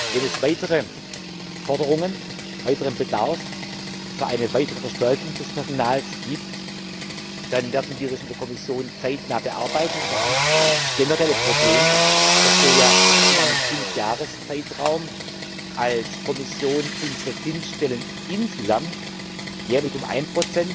Wenn es weitere Forderungen, weiteren Bedarf für eine weitere Verstärkung des Personals gibt, dann werden wir das in der Kommission zeitnah bearbeiten, aber haben das generelle Problem, dass wir ja in einem Fünfjahreszeitraum als Kommission unsere Dienststellen insgesamt jährlich um 1